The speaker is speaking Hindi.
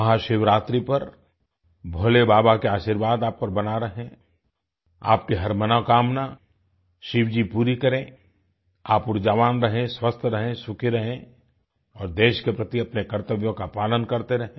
महाशिवरात्रि पर भोले बाबा के आशीर्वाद आप पर बना रहे आपकी हर मनोकामना शिवजी पूरी करें आप ऊर्जावान रहें स्वस्थ रहें सुखी रहें और देश के प्रति अपने कर्तव्यों का पालन करते रहें